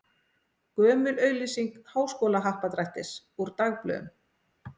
Gömul auglýsing Háskólahappdrættis úr dagblöðum.